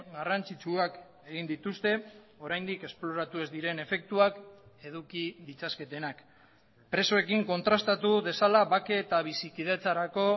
garrantzitsuak egin dituzte oraindik esploratu ez diren efektuak eduki ditzaketenak presoekin kontrastatu dezala bake eta bizikidetzarako